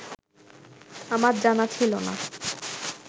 আমার জানা ছিল না